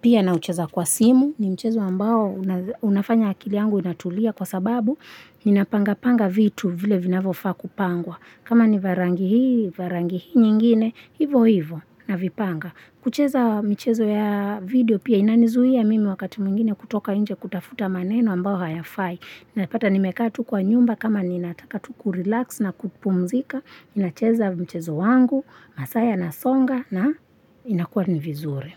Pia naucheza kwa simu ni mchezo ambao unafanya akili yangu inatulia kwa sababu ninapanga panga vitu vile vinavyofaa kupangwa. Kama ni vya rangi hii, vya rangi hii nyingine, hivo hivo navipanga. Kucheza michezo ya video pia inanizuia mimi wakati mwingine kutoka nje kutafuta maneno ambao hayafai. Napata nimekatu kwa nyumba kama ninataka tu ku-relax na kupumzika. Nacheza mchezo wangu, masaa yanasonga na inakuwa ni vizuri.